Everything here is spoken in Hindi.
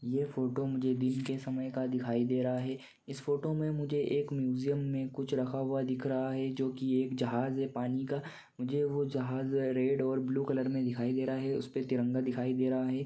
यह फ़ोटो मुझे दिन के समय का दिख रहा है इस फ़ोटो मे मझे कुछ म्यूज़ीअम मे कुछ रखाअ हुआ दिखाई दे रहा है जोकि एक जहाज है पानी का मझे वो जहाज रेड और ब्लू कलर का दिखाई दे रहा है उसपे तिरंगा दिखाई दे रहा है।